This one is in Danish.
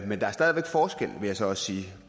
men der er stadig væk forskel vil jeg så også sige